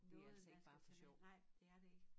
Noget man skal tage med nej det er det ik